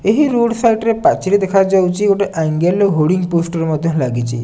ଏହି road side ରେ ପାଚେରୀ ଦେଖାଯାଉଚି ଗୋଟେ ଆଙ୍ଗେଲ ରେ ହୋଡିଂ ପୋଷ୍ଟର ମଧ୍ୟ ଲାଗିଚି।